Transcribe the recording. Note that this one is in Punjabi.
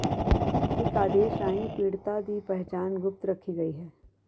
ਇਕ ਆਦੇਸ਼ ਰਾਹੀਂ ਪੀੜਤਾ ਦੀ ਪਹਿਚਾਣ ਗੁਪਤ ਰੱਖੀ ਗਈ ਹੈ